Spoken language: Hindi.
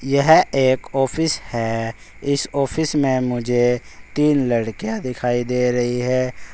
यह एक ऑफिस है इस ऑफिस में मुझे तीन लड़कियां दिखाई दे रही है।